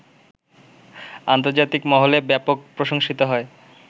আন্তর্জাতিক মহলে ব্যাপক প্রশংসিত হয়